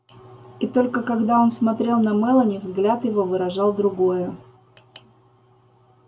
и только когда он смотрел на мелани взгляд его выражал другое